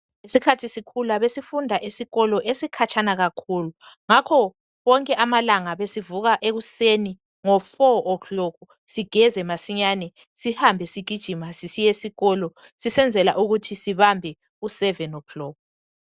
Ngesikhathi sikhula besifunda esikolo esikhatshana kakhulu njalo wonke amalanga besivuka ekuseni ngehola lesine sigeze masinyane sihambe sigijima sisiye sikolo sisenzela ukuthi sibambe ihola lesikhombisa.